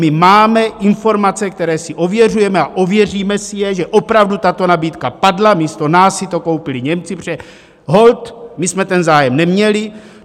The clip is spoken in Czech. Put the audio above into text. My máme informace, které si ověřujeme a ověříme si je, že opravdu tato nabídka padla, místo nás si to koupili Němci, protože holt my jsme ten zájem neměli.